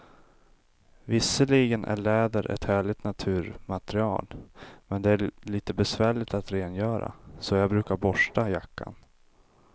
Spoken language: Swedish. Visserligen är läder ett härligt naturmaterial, men det är lite besvärligt att rengöra, så jag brukar borsta jackan.